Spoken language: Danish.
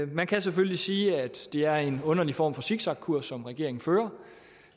man kan selvfølgelig sige at det er en underlig form for zigzagkurs som regeringen fører